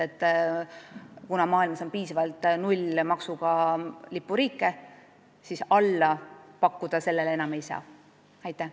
Kuna maailmas on piisavalt nullmaksumääraga lipuriike, siis alla selle enam pakkuda ei saa.